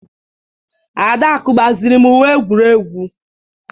Adaku gbaziri m Uwe egwuregwu